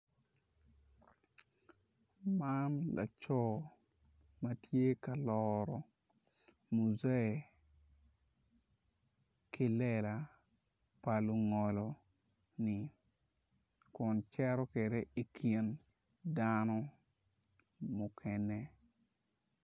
Man laco ma tye ka loro mujee ki lela pa lungolo kun cito kwede i kin dano mukene.